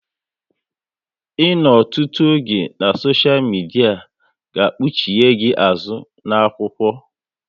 Ịnọ ọtụtụ oge na soshia midia ga kpuchie gị azụ na-akwụkwọ